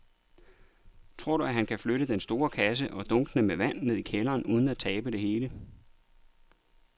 Tror du, at han kan flytte den store kasse og dunkene med vand ned i kælderen uden at tabe det hele?